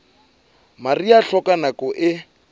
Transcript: mariha e hloka nako e